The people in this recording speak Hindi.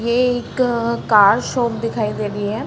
ये एक कार शॉप दिखाई दे रही है।